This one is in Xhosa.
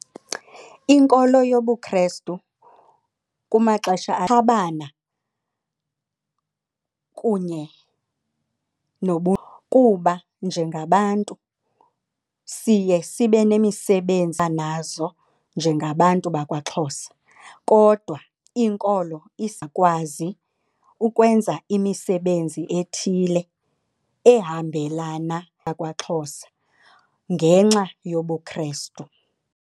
Inkolo yobuKrestu kumaxesha akhabana kunye kuba njengabantu siye sibe nemisebenzi nazo njengabantu bakwaXhosa kodwa inkolo izawukwazi ukwenza imisebenzi ethile ehambelana bkwaXhosa ngenxa yobuKrestu.